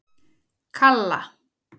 Kalla